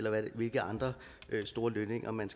eller hvilke andre store lønninger man